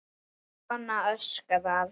Kona öskrar.